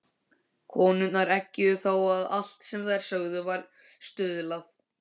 Konurnar eggjuðu þá og allt sem þær sögðu var stuðlað.